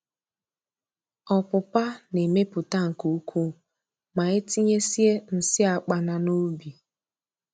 Ọpụpa na-emepụta nke ukwuu ma etinyesie nsị akpana n'ubi